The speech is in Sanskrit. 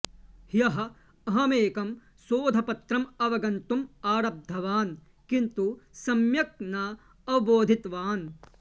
ह्यः अहंमेकं शोधपत्रम् अवगन्तुम् आरब्धवान् किन्तु सम्यग् न अवबोधितवान्